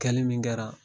Kɛli min kɛra